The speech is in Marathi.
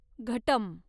घटम्